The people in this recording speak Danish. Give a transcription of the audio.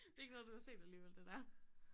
Det ikke noget du har set alligevel det der?